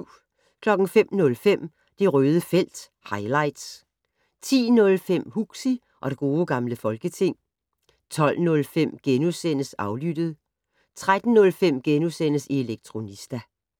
05:05: Det Røde felt - highlights 10:05: Huxi og det gode gamle folketing 12:05: Aflyttet * 13:05: Elektronista *